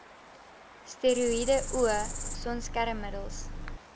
steroïede o sonskermmiddels